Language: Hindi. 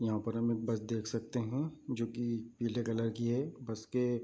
यहाँ पर हमें बस देख सकते हैं जो की पीले कलर की है बस के --